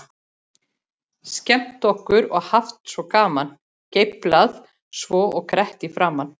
Skemmt okkur og haft svo gaman, geiflað svo og grett í framan.